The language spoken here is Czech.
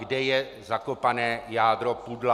Kde je zakopané jádro pudla.